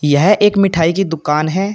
यह एक मिठाई की दुकान है।